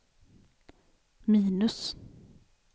minus